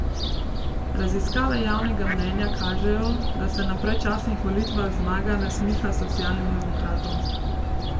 Raziskave javnega mnenja kažejo, da se na predčasnih volitvah zmaga nasmiha socialnim demokratom.